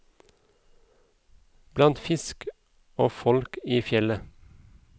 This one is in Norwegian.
Blant fisk og folk i fjellet.